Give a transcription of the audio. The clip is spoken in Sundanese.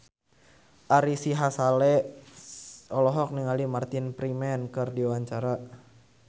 Ari Sihasale olohok ningali Martin Freeman keur diwawancara